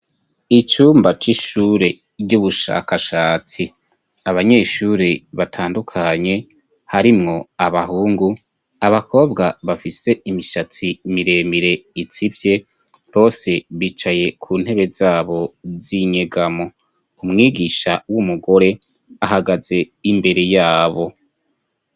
Icumba c'ishure ry'ubushakashatsi. Abanyeshure batandukanye, harimwo abahungu, abakobwa bafise imishatsi miremire itsivye, bose bicaye ku ntebe zabo z'inyegamo. Umwigisha w'umugore ahagaze imbere yabo.